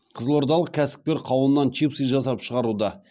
қызылордалық кәсіпкер қауыннан чипсы жасап шығаруда